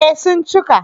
Eh sun cika